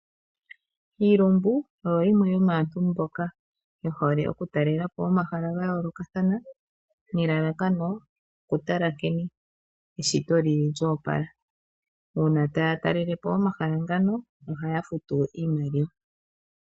Iilumbu oyo yimwe yomaantu mboka yehole okutalelapo omahala gayoolokathana, nelalakano okutala nkene eshito lyili lyoopala. Uuna taya talelepo omahala ngano oha ya futu iimaliwa.